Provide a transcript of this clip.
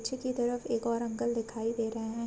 पीछे कि तरफ एक और अंकल दिखाई दे रहे है।